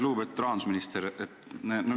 Lugupeetud rahandusminister!